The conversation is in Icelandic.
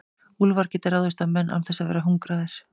úlfar geta ráðist á menn án þess að vera hungraðir